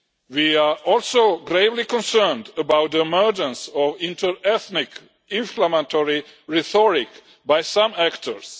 We are also gravely concerned about the emergence of inter ethnic inflammatory rhetoric by some actors.